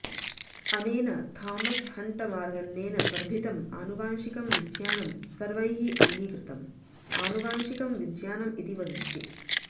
अनेन Thomas Hunt मार्गन्नेन वर्धितम् आनुवंशिकं विज्ञानं सर्वैः अङ्गीकृतम् आनुवंशिकं विज्ञानम् इति वदन्ति